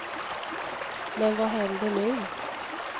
Men vad händer nu?